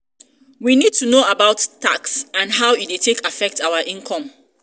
we need to know about about tax and how e take dey affect our income